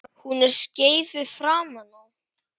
Hún er skeifu framan á.